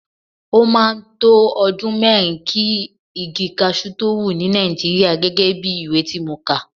Ó máa ń to ọdún mẹ́rin kí igi cashew tó wù ní Nàìjíríà gẹ́gẹ́ bí ìwé tí mo kà.